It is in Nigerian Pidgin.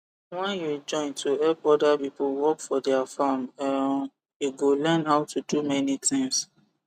when you join to help other people work for their farm um you go learn how to do many things